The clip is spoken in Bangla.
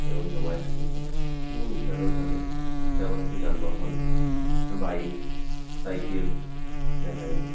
এবং জমায়েত হয়েছেন এবং এছাড়াও তাদের ব্যবহৃত যানবাহন বাইক সাইকেল দেখা যাচ্ছে।